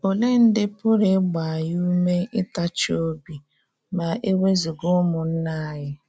Olee ndị pụrụ ịgba anyị ùmé ịtachi obi ma e wezụga ụmụnna anyị?